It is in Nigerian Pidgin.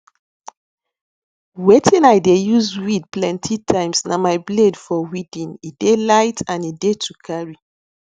wetin i dey use weed plenty times na my blade for weeding e dey light and e dey to carry